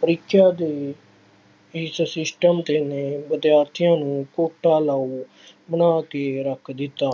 ਪ੍ਰੀਖਿਆ ਦੇ ਇਸ system ਤੇ ਨੇ ਵਿਦਿਆਰਥੀਆਂ ਨੂੰ ਘੋਟਾ ਲਾਊ ਬਣਾ ਕੇ ਰੱਖ ਦਿੱਤਾ।